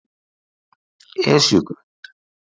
Esjugrund